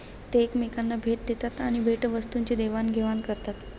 ते एकमेकांना भेट देतात आणि भेटवस्तूंची देवाणघेवाण करतात.